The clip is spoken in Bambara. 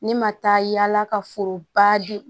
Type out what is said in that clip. Ne ma taa yala ka foroba di